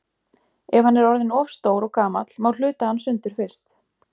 Ef hann er orðinn of stór og gamall má hluta hann sundur fyrst.